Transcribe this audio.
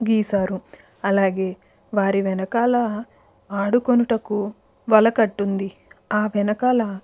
గీసారు అలాగే వారి వెనకాల ఆడుకొనుటకు వల కట్టుంది. ఆ వెనకాల --